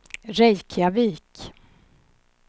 Reykjavik